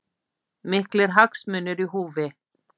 Miklir hagsmunir í húfi